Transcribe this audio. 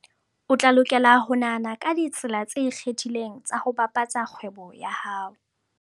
O tla lokela ho nahana ka ditsela tse ikgethileng tsa ho bapatsa kgwebo ya hao.